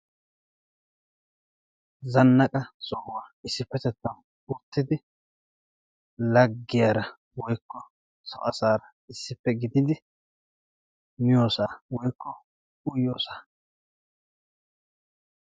Zannaqa sohuwaa issippettettan uttidi laggiyaara woykko so asaara issippe gididi miyoosaa woykko uyiyoosaa.